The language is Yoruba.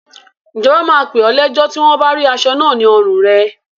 Ìjọba máa pè ọ́ lẹ́jọ́ tí wọn bá rí aṣọ náà ní ọrùn rẹ.